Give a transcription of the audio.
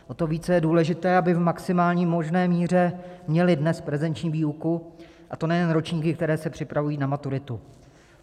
O to více je důležité, aby v maximální možné míře měli dnes prezenční výuku, a to nejen ročníky, které se připravují na maturitu.